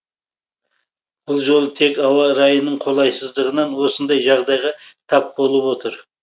бұл жолы тек ауа райының қолайсыздығынан осындай жағдайға тап болып отыр